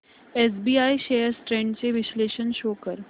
SBI shares trends चे विश्लेषण show कर